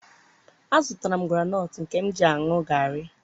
a zụtara m groundnut nke m ga-eji ṅụọ garri.